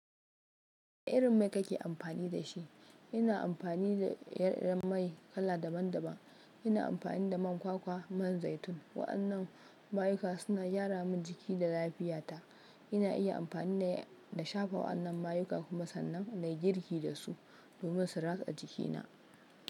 Wane irin mai kake amfani da shi? Ina amfani da ire iren mai kala daban-daban. Ina amfani da man kwakwa, man zaitun. Wa'annan mayuka suna gyara min jiki da lafiyata. Ina iya amfani ne da shafa wa'annan mayuka kuma sannan na yi girki da su domin su ratsa jikina.